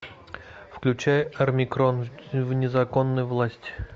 включай армикрон в незаконной власти